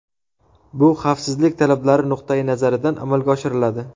Bu xavfsizlik talablari nuqtai nazaridan amalga oshiriladi.